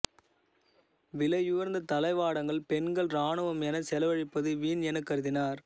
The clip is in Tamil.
விலையுயர்ந்த தளவாடங்கள் பெண்கள் இராணுவம் எனச் செலவழிப்பது வீண் எனக் கருதினர்